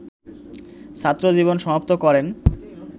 ছাত্রজীবন সমাপ্ত করেন